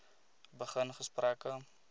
begin gesprekke